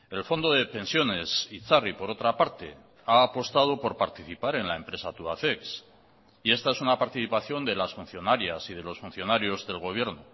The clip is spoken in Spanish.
el fondo de pensiones itzarri por otra parte ha apostado por participar en la empresa tubacex y esta es una participación de las funcionarias y de los funcionarios del gobierno